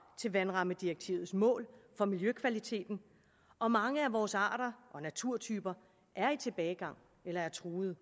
til vandrammedirektivets mål for miljøkvaliteten og mange af vores arter og naturtyper er i tilbagegang eller er truede